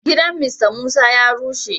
Gidan "Mr Musa" ya rushe.